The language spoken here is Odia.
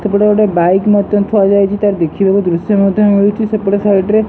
ସେପଟେ ଗୋଟେ ବାଇକ ମତ୍ଯ ଥୁଆ ଯାଇଚି ତାର ଦେଖିବାକୁ ଦୃଶ୍ୟ ମଧ୍ୟ ମିଳୁଚି ସେପଟ ସାଇଟ ରେ।